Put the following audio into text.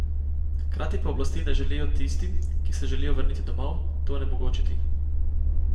Hkrati pa oblasti ne želijo tistim, ki se želijo vrniti domov, to onemogočiti.